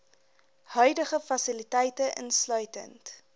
huidige fasiliteite insluitend